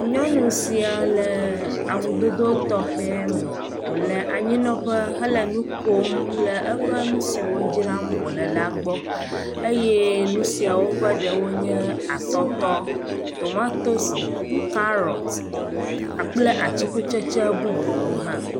Nyɔnu sia le awudodo tɔxɛ me, wòle anyinɔƒe hele nu kom le eƒe nu siwo dzram wòle la gbɔ eye nu siawo ƒe ɖewoe nye atɔtɔ, tomatosi, karɔt kple atikutsetse bubuwo hã.